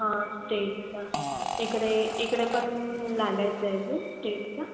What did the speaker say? हां state चा इकडे इकडे पण लागायचा आहे आजुन state चा.